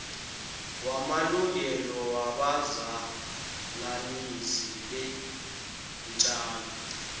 wamalungelo wabazalanisi beentjalo